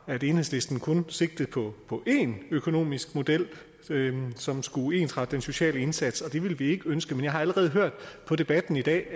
at enhedslisten kun sigtede på én økonomisk model som skulle ensrette den sociale indsats og det ville vi ikke ønske men jeg har allerede hørt i debatten i dag